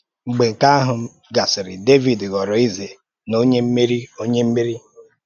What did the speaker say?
Mgbe nke ahụ gasịrị, Dẹvid ghọrọ eze na onye mmeri. onye mmeri.